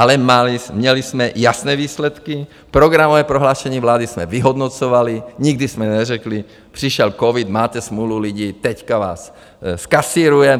Ale měli jsme jasné výsledky, programové prohlášení vlády jsme vyhodnocovali, nikdy jsme neřekli, přišel covid, máte smůlu lidi, teď vás zkasírujeme!